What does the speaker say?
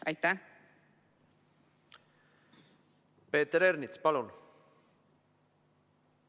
Peeter Ernits, palun!